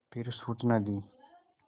फिर सूचना दी